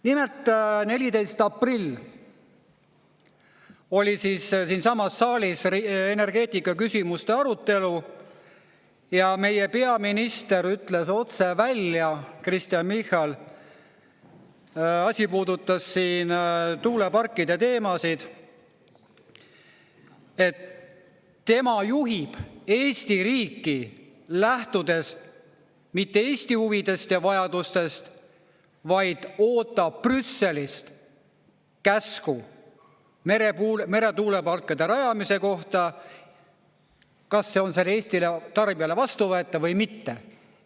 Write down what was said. Nimelt, 14. aprill oli siinsamas saalis energeetikaküsimuste arutelu ja meie peaminister ütles otse välja, Kristen Michal – asi puudutas siin tuuleparkide teemasid –, et tema juhib Eesti riiki, lähtudes mitte Eesti huvidest ja vajadustest, vaid ootab Brüsselist käsku meretuuleparkide rajamise kohta, kas see on Eesti tarbijale vastuvõetav või mitte.